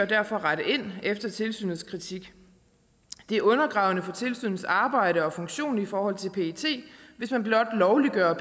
derfor rette ind efter tilsynets kritik det er undergravende for tilsynets arbejde og funktion i forhold til pet hvis man blot lovliggør